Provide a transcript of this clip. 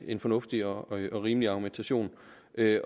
en fornuftig og rimelig argumentation